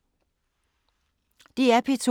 DR P2